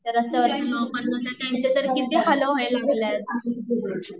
तर असं जे नॉर्मल लोकं आहेत त्यांचे तर किती हाल होयल लागले